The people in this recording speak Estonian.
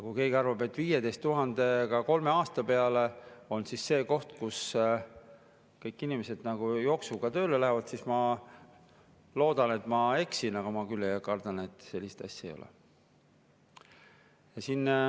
Kui keegi arvab, et 15 000 kolme aasta peale on see, mille pärast kõik inimesed jooksuga tööle lähevad, siis – ma küll loodan, et ma eksin – ma kardan, et sellist asja ei ole.